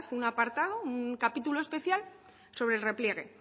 un apartado un capítulo especial sobre el repliegue